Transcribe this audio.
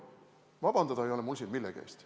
Vabandada ei ole mul siin millegi eest.